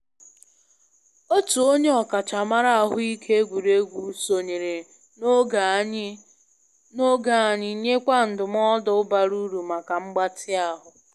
Otu onye ọkachamara ahụike egwuregwu sonyere na oge anyị nyekwa ndụmọdụ bara uru maka mgbatị ahụ